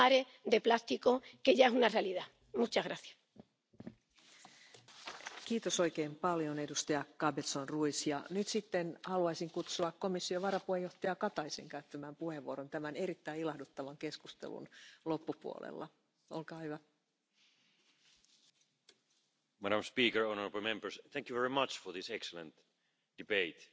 If it is not possible to get it through, I really hope that Member States could look at it as a national solution. Taxation or levies can create healthy incentives to the economy. If we start taxing something it will create incentives to change behaviour, and if we put a levy on unrecycled recyclable plastic it is a good incentive for changing our business models. So once more I want to thank you for your contribution. Let's continue our good cooperation.